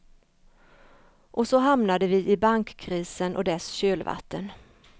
Och så hamnade vi i bankkrisen och dess kölvatten.